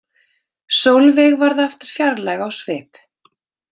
Sólveig varð aftur fjarlæg á svip.